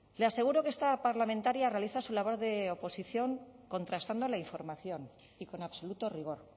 le aseguro que esta parlamentaria realiza su labor de oposición contrastando la información y con absoluto rigor